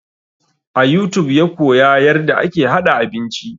A youtube ya koya yarda ake haɗa abinci